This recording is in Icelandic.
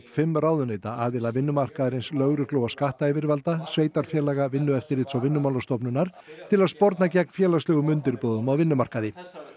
fimm ráðuneyta aðila vinnumarkaðarins lögreglu og skattayfirvalda sveitarfélaga Vinnueftirlits og Vinnumálastofnunar til að sporna gegn félagslegum undirboðum á vinnumarkaði